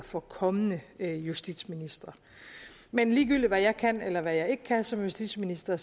for kommende justitsministre men ligegyldigt hvad jeg kan eller jeg ikke kan som justitsminister